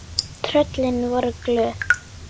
Tröllin voru glöð.